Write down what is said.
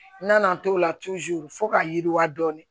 N nana n t'o la fo ka yiriwa dɔɔnin